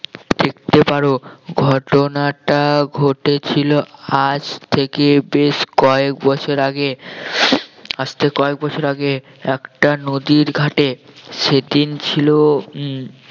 দেখতে পারো ঘটনাটা ঘটেছিল আজ থেকে বেশ কয়েক বছর আগে আজ থেকে কয়েক বছর আগে একটা নদীর ঘাটে সেদিন ছিল উম